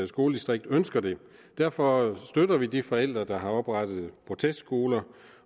skoledistrikt ønsker det derfor støtter vi de forældre der har oprettet protestskoler